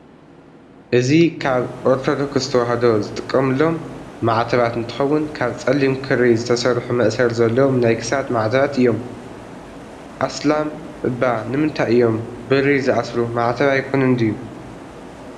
እዚ ካብ ኦርቶዶክስ ተዋህዶ ዝጥቀምሎም ማዕተባት እንትከውን ካብ ፀሊም ክሪ ዝተሰርሑ መእሰሪ ዘለዎም ናይ ክሳድ ማዕተባት እዮም። ኣስላም እባ ንምታይ እዮም ብሪ ዝኣስሩ ማዕተብ ኣይኮነን ድዩ?